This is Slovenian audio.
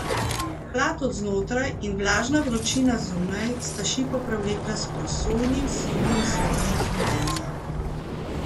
Hlad od znotraj in vlažna vročina zunaj sta šipo prevlekla s prosojnim, sivim slojem kondenza.